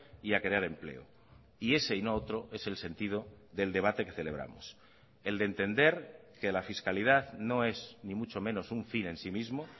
y a crear empleo y ese y no otro es el sentido del debate que celebramos el de entender que la fiscalidad no es ni mucho menos un fin en sí mismo